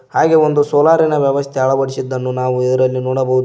ಹಾಗೆ ಒಂದು ಸೋಲಾರಿನ ವ್ಯವಸ್ಥೆ ಅಳವಡಿಸಿದ್ದನ್ನು ನಾವು ಇದರಲ್ಲಿ ನಾವು ನೋಡಬಹುದು.